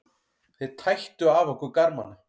Þeir tættu af okkur garmana.